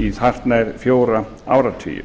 í hartnær fjóra áratugi